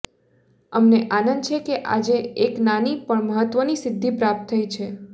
અમને આનંદ છે કે આજે એક નાની પણ મહત્ત્વની સિદ્ધિ પ્રાપ્ત થઈ છે